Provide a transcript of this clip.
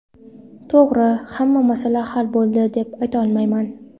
To‘g‘ri, hamma masala hal bo‘ldi, deb aytolmayman.